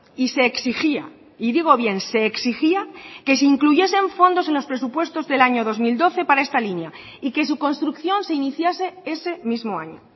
y se exigía y digo bien se exigía que se incluyesen fondos en los presupuestos del año dos mil doce para esta línea y que su construcción se iniciase ese mismo año